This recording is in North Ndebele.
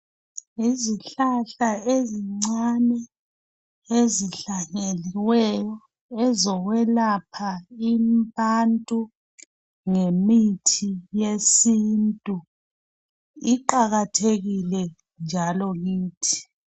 Yizihlahla ezincane ezihlanyeliweyo ezokwelapha abantu ngemithi yesintu iqakathekile njalo kithi